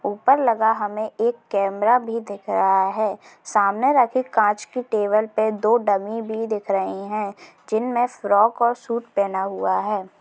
उपर लगा हमें एक कैमरा भी दिख रहा है सामने रखी कांच की टेबल पे दो डमी भी दिख रही हे जिनमे फ्रॉक और सूट पैना हुआ है